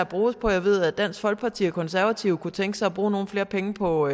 bruges på jeg ved at dansk folkeparti og konservative kunne tænke sig at bruge nogle flere penge på